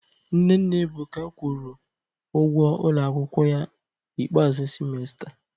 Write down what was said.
Nne nna Ebuka kwụrụ ụgwọ ụlọ akwụkwọ ya ikpeazụ semester